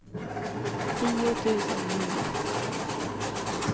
tio tusen nio